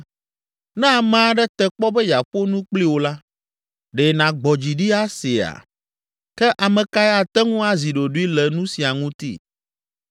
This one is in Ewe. “Ne ame aɖe te kpɔ be yeaƒo nu kpli wò la, ɖe nàgbɔ dzi ɖi aseea? Ke ame kae ate ŋu azi ɖoɖoe le nu sia ŋuti?